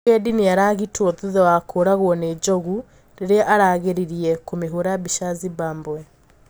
Mũgendi niũragitwo thutha wa kũragwo ni njogu riria aragiririe kumihũra mbica Zimbabwe.